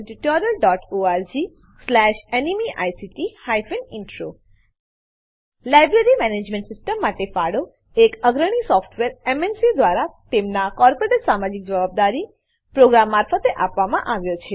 httpspoken tutorialorgNMEICT Intro library management system માટે ફાળો એક અગ્રણી સોફ્ટવેર એમએનસી દ્વારા તેમનાં કોર્પોરેટ સામાજિક જવાબદારી પ્રોગ્રામ મારફતે આપવામાં આવ્યો છે